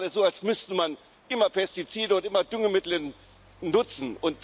Sie tun gerade so, als müsste man immer Pestizide und immer Düngemittel nutzen.